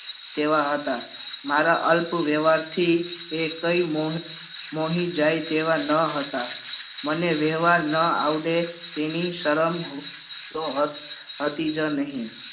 તેવા હતા મારા અલ્પ વ્યવહાર થી એ કઈ મોહી જાય તેવા ન હતા મને વ્યવહાર ના આવડે તેની સરમ તો હતી જ નહિ